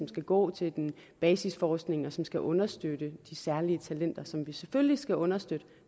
skal gå til basisforskning og som skal understøtte de særlige talenter som vi selvfølgelig skal understøtte